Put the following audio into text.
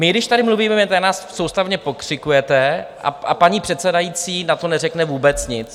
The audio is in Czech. My když tady mluvíme, tak na nás soustavně pokřikujete, a paní předsedající na to neřekne vůbec nic.